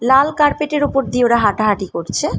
লাল carpet এর ওপর দিয়ে ওরা হাঁটাহাঁটি করছে।